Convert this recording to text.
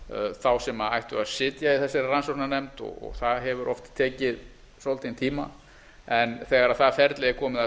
þá sem ættu að sitja í þessari rannsóknarnefnd og það hefur oft tekið svolítinn tíma en þegar það ferli er komið af